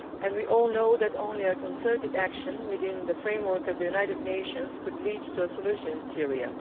We all know that only concerted action within the framework of the United Nations can lead to a solution in Syria.